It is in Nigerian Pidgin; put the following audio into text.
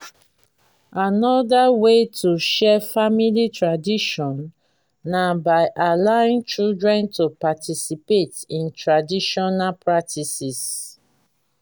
anoda wey to share family tradition na by allowing children to participate in traditional practices